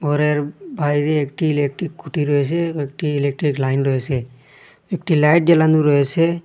ঘরের বাহিরে একটি ইলেকট্রিক খুঁটি রয়েসে একটি ইলেকট্রিক লাইন রয়েসে একটি লাইট জ্বালানো রয়েসে ।